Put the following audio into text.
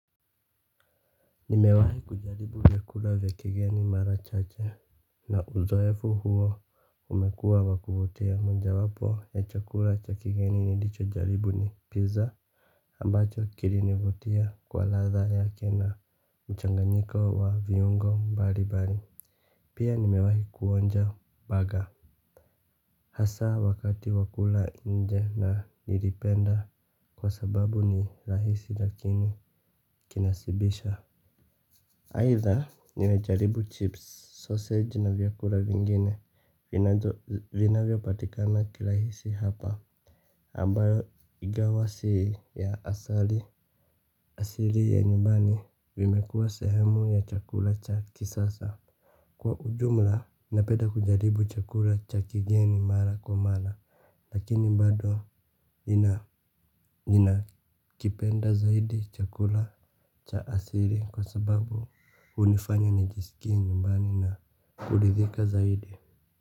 Nimewahi kujaribu vyakula vya kigeni mara chache. Na uzoefu huo umekua wakuvutia moja wapo ya chakula cha kigeni nilicho jaribu ni pizza ambacho kili nivutia kwa ladha yake na mchanganyiko wa viungo mbalibari. Pia nimewahi kuonja baga. Hasa wakati wakula nje na nilipenda kwa sababu ni rahisi lakini kinasibisha aidha nilijaribu chips, sausage na vyakura vingine vina vyo patikana kilahisi hapa. Ambayo ingawa si ya asali asili ya nyubani vimekua sehemu ya chakula cha kisasa. Kwa ujumla, napeda kujaribu chakula cha kigeni mala kwa mala, lakini mbado ninakipenda zaidi chakula cha asiri kwa sababu hunifanya nijisikie nyumbani na kulidhika zaidi.